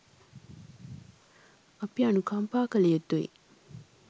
අපි අනුකම්පා කල යුතුයි.